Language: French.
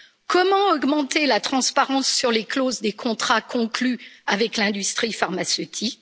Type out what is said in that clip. Comment augmenter la transparence sur les clauses des contrats conclus avec l'industrie pharmaceutique?